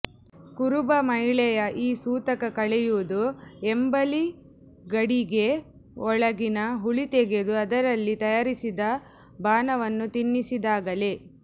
ಕುರುಬ ಮಹಿಳೆಯ ಈ ಸೂತಕ ಕಳೆಯುವುದು ಎಂಬಲಿ ಗಡಿಗೆ ಯೊಳಗಿನ ಹುಳಿ ತೆಗೆದು ಅದರಲ್ಲಿ ತಯಾರಿಸಿದ ಬಾನವನ್ನು ತಿನ್ನಿಸಿದಾಗಲೇ